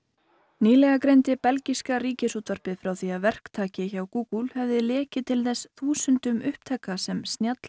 nýlega greindi belgíska Ríkisútvarpið frá því að verktaki hjá Google hefði lekið til þess þúsundum upptaka sem